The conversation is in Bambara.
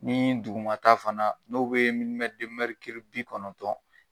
Nii dugumata fana n'o be bi kɔnɔntɔn